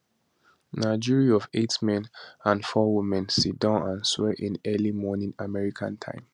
na jury of eight men and four women siddon and swear in early morning american time